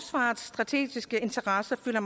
at